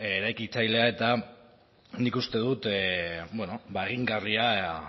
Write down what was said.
eraikitzailea eta nik uste dut egingarria